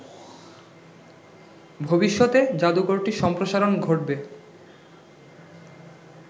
ভবিষ্যতে জাদুঘরটির সম্প্রসারণ ঘটবে